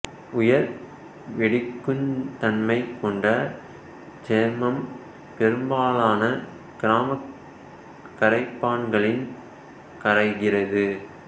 உயர் வெடிக்குந் தன்மை கொண்ட இச்சேர்மம் பெரும்பாலான கரிமக் கரைப்பான்களில் கரைகிறது